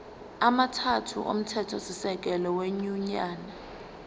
amathathu omthethosisekelo wenyunyane